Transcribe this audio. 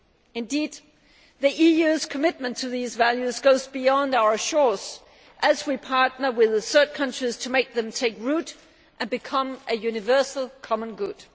Indeed, the EU's commitment to these values goes beyond our shores, as we partner third countries to make them take root and become a universal common good.